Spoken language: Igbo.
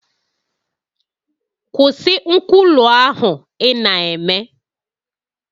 Kwụsị nkwulu ahụ ị na-eme